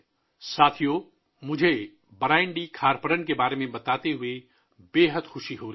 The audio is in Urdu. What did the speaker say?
ساتھیو ، مجھے آپ کو برائن ڈی کھارپرن کے بارے میں بتاتے ہوئے بہت خوشی ہو رہی ہے